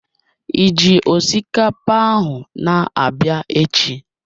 Ịji osikapa ahụ na-abịa echi?